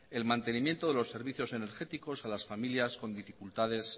el mantenimiento de los servicios energéticos a las familias con dificultades